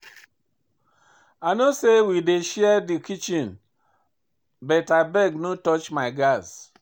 I know sey we dey share di kitchen but abeg no touch my gas.